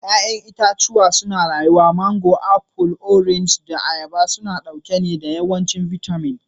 Ya'yan itãcen marmari suna rayuwa mango, apple, orange, da ayaba suna ɗauke da yawancin bitamin.